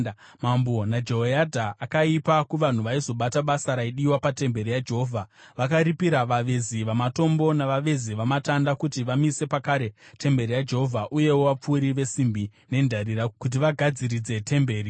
Mambo naJehoyadha akaipa kuvanhu vaizoita basa raidiwa patemberi yaJehovha. Vakaripira vavezi vamatombo navavezi vamatanda kuti vamise pakare temberi yaJehovha, uyewo vapfuri vesimbi nendarira kuti vagadziridze temberi.